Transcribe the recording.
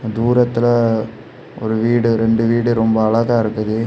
தூரத்துல ஒரு வீடு ரெண்டு வீடு ரொம்ப அழகா இருக்குது.